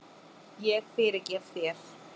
Ég fyrirgef þér.